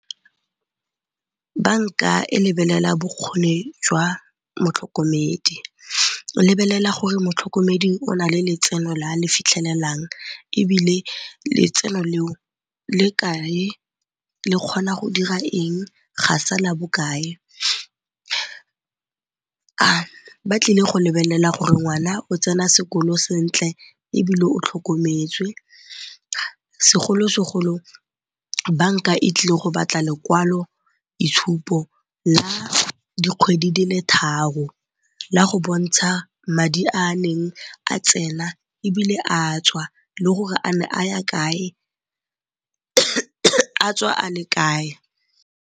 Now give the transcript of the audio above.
Banka e lebelela bokgoni jwa motlhokomedi, e lebelela gore motlhokomedi o na le letseno le a le fitlhelelang ebile letseno le o le kae, le kgona go dira eng, ga sala bokae. Ba tlile go lebelela gore ngwana o tsena sekolo sentle ebile o tlhokometswe, segolo-segolo banka e tlile go batla lekwaloitshupo la dikgwedi di le tharo la go bontsha madi a a neng a tsena ebile a tswa le gore a ne a ya kae a tswa a le kae.